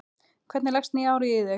Hvernig leggst nýja árið í þig?